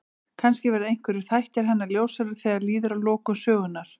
Kannski verða einhverjir þættir hennar ljósari þegar líður að lokum sögunnar.